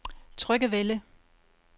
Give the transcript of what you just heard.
Tryggevælde